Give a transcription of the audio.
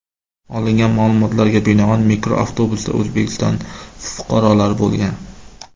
Olingan ma’lumotlarga binoan, mikroavtobusda O‘zbekiston fuqarolari bo‘lgan.